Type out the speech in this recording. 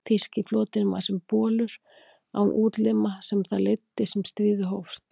Þýski flotinn var sem bolur án útlima um það leyti sem stríðið hófst.